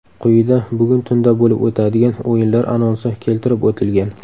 Quyida bugun tunda bo‘lib o‘tadigan o‘yinlar anonsi keltirib o‘tilgan.